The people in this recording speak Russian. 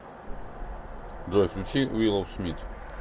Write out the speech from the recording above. джой включи виллоу смит